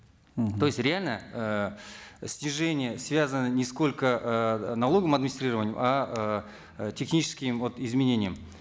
мгм то есть реально э снижение связано не сколько эээ налоговым администрированием а э техническим вот изменением